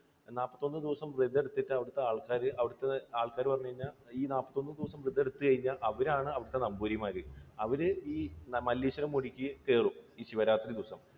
നാല്പത്തൊന്ന് ദിവസം വ്രതം എടുത്തിട്ട് അവിടുത്തെ ആൾക്കാർ, അവിടുത്തെ ആൾക്കാർ എന്ന് പറഞ്ഞു കഴിഞ്ഞാൽ ഈ നാല്പത്തൊന്ന് ദിവസം ദിവസം വ്രതം എടുത്തു കഴിഞ്ഞാൽ അവരാണ് അവിടുത്തെ നമ്പൂതിരിമാർ. അവര ഈ മല്ലേശ്വരം മുടിക്ക് കേറും. ഈ ശിവരാത്രി ദിവസം.